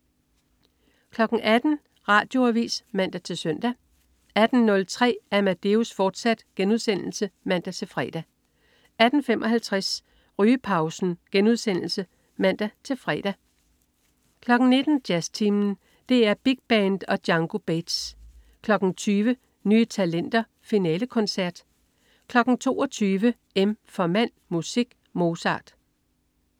18.00 Radioavis (man-søn) 18.03 Amadeus, fortsat* (man-fre) 18.55 Rygepausen* (man-fre) 19.00 Jazztimen. DR Big Band og Django Bates 20.00 Nye Talenter Finalekoncert 22.00 M for Mand, Musik, Mozart